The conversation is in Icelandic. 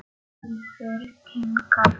Úlfur kinkar kolli.